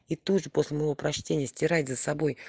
и тут же после моего прочтения стирать за собой